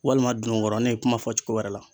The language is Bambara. Walima dunugɔrɔni kuma fɔ cogo wɛrɛ la.